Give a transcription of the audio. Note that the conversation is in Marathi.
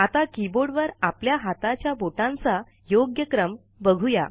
आता कीबोर्डवर आपल्या हाताच्या बोटांचा योग्य क्रम बघूया